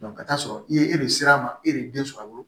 ka taa'a sɔrɔ i ye e de ser'a ma e de den sɔrɔ a bolo